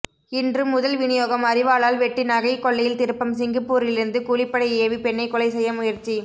இன்று முதல் விநியோகம் அரிவாளால் வெட்டி நகை கொள்ளையில் திருப்பம் சிங்கப்பூரிலிருந்து கூலிப்படை ஏவி பெண்ணை கொலை செய்ய முயற்சி